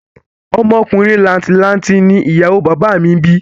Ọmọ ọkùnrin làǹtì lanti ni ìyàwó o bàbá à mi bí